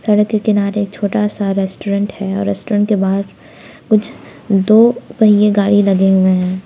सड़क के किनारे छोटा सा रेस्टोरेंट है और रेस्टोरेंट के बाहर कुछ दो पहिए गाड़ी लगे हुए हैं।